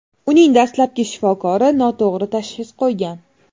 Uning dastlabki shifokori noto‘g‘ri tashxis qo‘ygan.